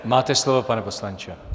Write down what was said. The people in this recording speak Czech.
Máte slovo, pane poslanče.